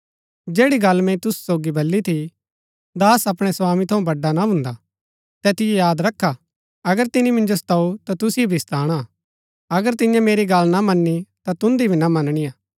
जैड़ी गल्ल मैंई तुसु सोगी बली थी दास अपणै स्वामी थऊँ बड़ा ना भून्दा तैतिओ याद रखा अगर तिनी मिन्जो सताऊ ता तुसिओ भी सताणा अगर तियें मेरी गल्ल मनी ता तुन्दी भी मनणी हा